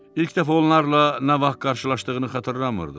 İlk dəfə onlarla nə vaxt qarşılaşdığını xatırlamırdı.